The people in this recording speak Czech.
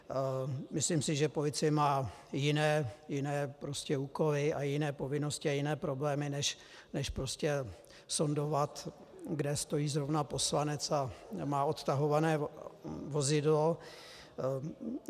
Myslím si, že policie má jiné úkoly a jiné povinnosti a jiné problémy než sondovat, kde stojí zrovna poslanec a nemá odtahované vozidlo.